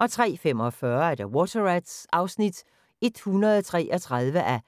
* 03:45: Water Rats (133:177)